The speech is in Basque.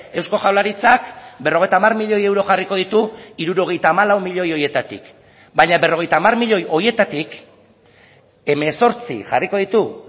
eusko jaurlaritzak berrogeita hamar milioi euro jarriko ditu hirurogeita hamalau milioi horietatik baina berrogeita hamar milioi horietatik hemezortzi jarriko ditu